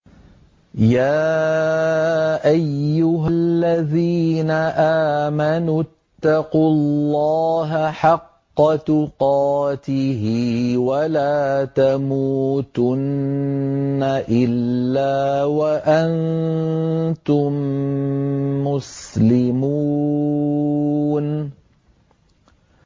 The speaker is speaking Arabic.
يَا أَيُّهَا الَّذِينَ آمَنُوا اتَّقُوا اللَّهَ حَقَّ تُقَاتِهِ وَلَا تَمُوتُنَّ إِلَّا وَأَنتُم مُّسْلِمُونَ